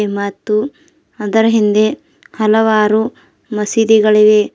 ಮತ್ತು ಅದರ ಹಿಂದೆ ಹಲವಾರು ಮಸೀದಿಗಳಿಗೆ.